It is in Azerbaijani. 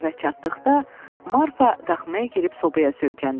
Evə çatdıqda Marfa daxmaya girib sobaya söykəndi.